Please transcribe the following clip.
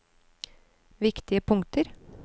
viktige punkter